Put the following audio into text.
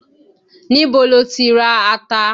Ní bo lo tí ra ata?